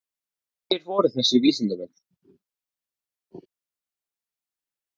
Hverjir voru þessir vísindamenn?